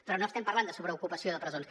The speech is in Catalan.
però no estem parlant de sobreocupació de presons